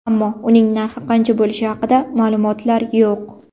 Ammo uning narxi qancha bo‘lishi haqida ma’lumotlar yo‘q.